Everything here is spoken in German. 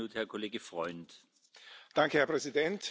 Herr Präsident, sehr geehrte Hohe Vertreterin!